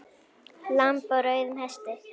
Lamb á rauðum hesti